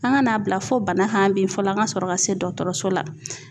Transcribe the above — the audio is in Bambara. An ka n'a bila fo bana kan bi fɔlɔ an ka sɔrɔ ka se dɔkɔtɔrɔso la